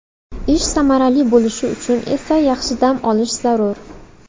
Ish samarali bo‘lishi uchun esa yaxshi dam olish zarur.